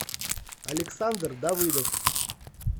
александр давыдов